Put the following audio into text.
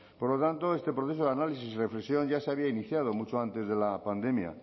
por lo tanto este proceso de análisis y reflexión ya se había iniciado mucho antes de la pandemia